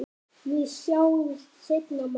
Við sjáumst seinna, mamma.